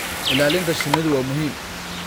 Ilaalinta shinnidu waa muhiim.